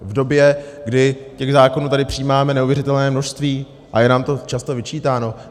V době, kdy těch zákonů tady přijímáme neuvěřitelné množství a je nám to často vyčítáno?